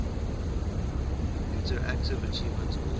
interactive achievement award